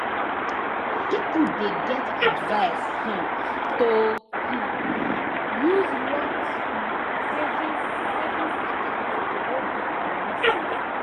people dey get advice um to um use locked um savings savings account to hold their moni safe